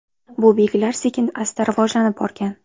Bu belgilar sekin-asta rivojlanib borgan.